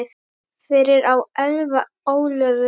Fyrir á Elfa Ólöfu.